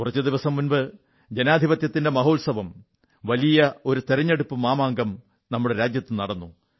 കുറച്ചുദിവസം മുമ്പ് ജനാധിപത്യത്തിന്റെ മഹോത്സവം വലിയ ഒരു തിരഞ്ഞെടുപ്പു മാമാങ്കം നമ്മുടെ രാജ്യത്തു നടന്നു